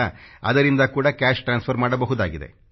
ಅದರಿಂದ ಕೂಡ cash transfer ಮಾಡಬಹುದಾಗಿದೆ